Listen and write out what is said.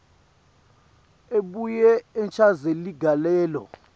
abuye achaze ligalelo